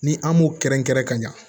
Ni an m'o kɛrɛnkɛrɛn ka ɲa